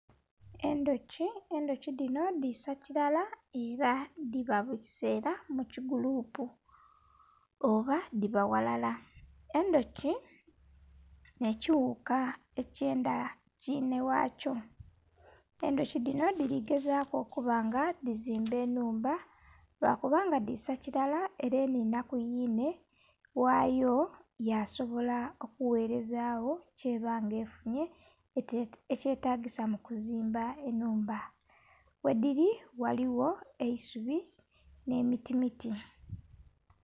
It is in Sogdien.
Endhuki, endhuki dhinho dhisa kirala era dhiba mukisera mukigulupu oba dhiba ghalala. Endhuki n'ekighuka ekyendha kinheghakyo, endhuki dhinho dhiri gezaku okubanga dhizimba enhumba lwakubanga dhiisa kirala er'enhinha kumwiine ghayo yasobola okughereza gho kyebanga efunye ekyetagesa mukuzimba enhumba. Wedhiri ghaligho eisubi n'emiti miti.